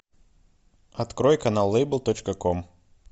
открой канал лейбл точка ком